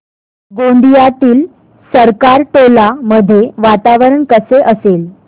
गोंदियातील सरकारटोला मध्ये वातावरण कसे असेल